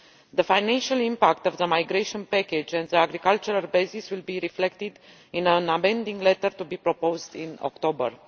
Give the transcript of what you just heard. The financial impact of the migration package and the agricultural basis will be reflected in an amending letter to be proposed in October.